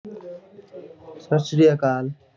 ਸਤਿ ਸ਼੍ਰੀ ਅਕਾਲ